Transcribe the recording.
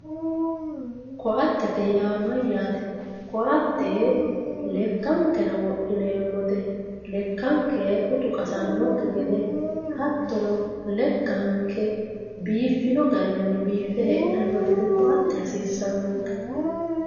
koatete yaa mayyate koatelekkankera wodhineemmote lekkanke utu qasannokki gede hattono lekkanke biiffino garinni biiffe heedhsnno gede koate hasiissannonke